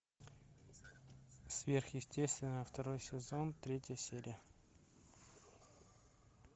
сверхъестественное второй сезон третья серия